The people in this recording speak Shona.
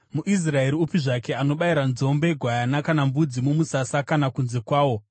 MuIsraeri upi zvake anobayira nzombe, gwayana kana mbudzi mumusasa kana kunze kwawo,